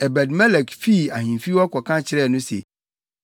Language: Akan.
Ebed-Melek fii ahemfi hɔ kɔka kyerɛɛ no se,